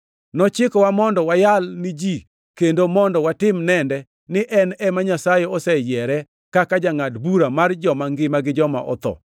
Nochikowa mondo wayal ni ji kendo mondo watim nende ni en ema Nyasaye oseyiere kaka jangʼad bura mar joma ngima gi joma otho.